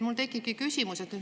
Mul tekibki küsimus.